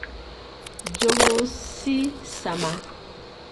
Njũgũ ci cama